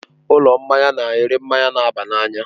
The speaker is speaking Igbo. Ụlọ mmanya na-ere mmanya na-aba n'anya.